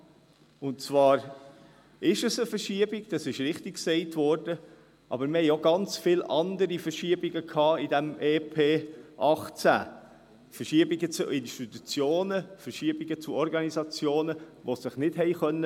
Sicher handelt es sich dabei um eine Verschiebung, aber es gab innerhalb des EP 2018 noch viele andere Verschiebungen – Verschiebungen zu Institutionen, Verschiebungen zu Organisationen, die sich nicht wehren konnten.